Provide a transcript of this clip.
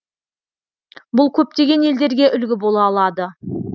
бұл көптеген елдерге үлгі бола алады